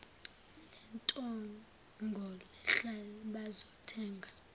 lentengo lehla bazothenga